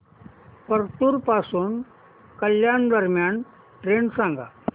परतूर पासून कल्याण दरम्यान ट्रेन सांगा